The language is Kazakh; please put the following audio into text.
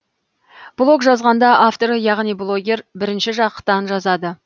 блог жазғанда авторы яғни блогер бірінші жақтан жазады